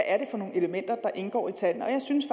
er for nogle elementer der indgår i tallene jeg synes